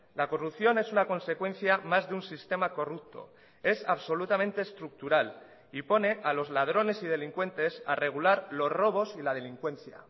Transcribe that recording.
la corrupción es una consecuencia más de un sistema corrupto es absolutamente estructural y pone a los ladrones y delincuentes a regular los robos y la delincuencia